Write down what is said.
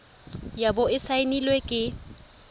ya bo e saenilwe ke